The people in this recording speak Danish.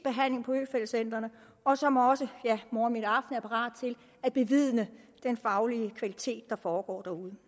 på øfeldt centrene og som også ja morgen middag aften er parat til at bevidne den faglige kvalitet i der foregår derude